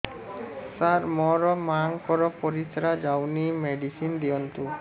ସାର ମୋର ମାଆଙ୍କର ପରିସ୍ରା ଯାଉନି ମେଡିସିନ ଦିଅନ୍ତୁ